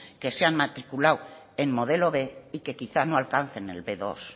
que se han matriculado en modelo b y que quizás no alcancen el be dos